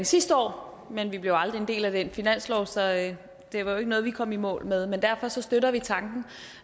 sidste år men vi blev aldrig en del af den finanslovaftale det var jo ikke noget vi kom i mål med men derfor støtter vi tanken